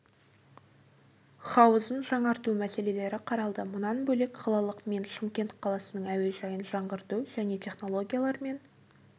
хауызын жаңарту мәселелері қаралды мұнан бөлек қалалық мен шымкент қаласының әуежайын жаңғырту және технологиялар мен